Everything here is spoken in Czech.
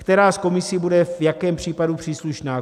Která z komisí bude v jakém případu příslušná?